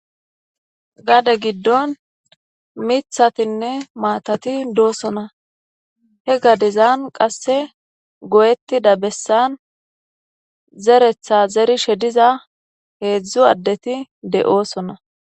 gade giddon mithatinne maatati doosona he gadezan qasse go7ettida bessan zeretha zeri she diza heedzdzu addeti de7oosona